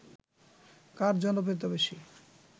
কার জনপ্রিয়তা বেশি ?